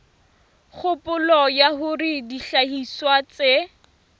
kgopolo ya hore dihlahiswa tse